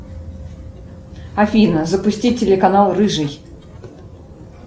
афина запусти телеканал рыжий